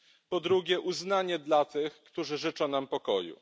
Po drugie uznanie dla tych, którzy życzą nam pokoju.